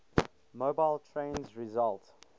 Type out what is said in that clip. mobile trains result